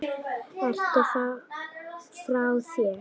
Ertu frá þér?